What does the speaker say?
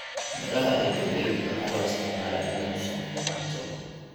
Midhaha ee galleyda waxaa loo isticmaalaa in lagu sameeyo cunto.